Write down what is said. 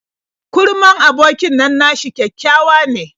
Kurman abokin nan nashi kyakkyawa ne.